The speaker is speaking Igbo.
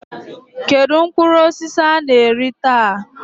Kedu mkpụrụ osisi ị na-eri taa?